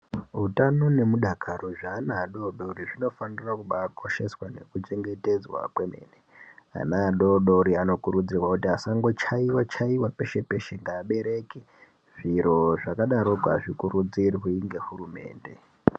Utano nemudakaro zveana adodori zvinofanira kubaakosheswa nekuchengetedzwa kwemene. Ana adodori anokurudzirwa kuti asangochaiwa chaiwa peshe peshe ngevabereki. Zviro zvakadaroko azvikurudzirwi ngehurumende